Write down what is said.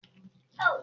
ki ni awọ ti o fẹràn ju